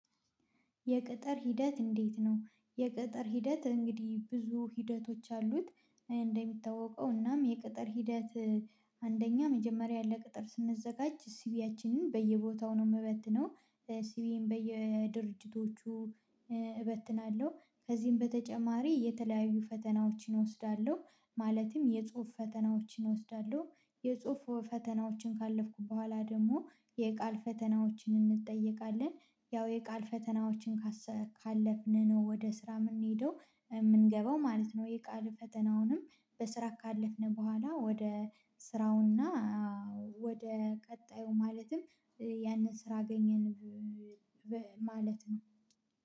የቅጥር ሂደት እንዴት ነው? የቅጥር ሂደት እንግዲህ ብዙ ሂደቶች አሉት። እንደሚታወቀው እናም የቅጥር ሂደት አንደኛ መጀመሪያ ለቅጥር ስንዘጋጅ ሲቪያችንም በየቦታው ነው የምበትነው። ሲቪን በየድርጅቶቹ እበትናለሁ ከዚህም በተጨማሪ የተለያዩ ፈተናዎችን እወስዳለሁ። ማለትም የጽሁፍ ፈተናዎችን እወስዳለሁ። የጽሁፍ ፈተናዎችን ካለፍኩ በኋላ ደግሞ የቃል ፈተናዎችን እንጠየቃለን ያው የቃል ፈተናዎችን ካለፍን ነው ወደ ስራ የምንሄደው የምንገባው ማለት ነው። የቃል ፈተናውንም በስራ ካለፍነው በኋላ ወደ ስራውና ወደ ቀጣዩ ማለትም ያንን ስራ አገኘን። ማለት ነው።